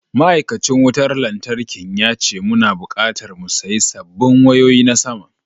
Ma’aikacin wutar lantarkin ya ce muna bukatar mu sayi sabbin wayoyi na sama.